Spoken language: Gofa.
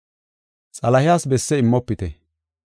Xalahes besse immofite.